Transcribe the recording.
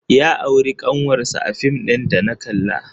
Ya auri ƙanwarsa a fim ɗin da na kalla.